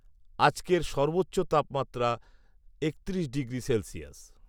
আজকের সর্বোচ্চ তাপমাত্রা একত্রিশ ডিগ্রি সেলসিয়াস